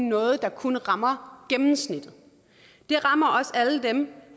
noget der kun rammer gennemsnittet det rammer også alle dem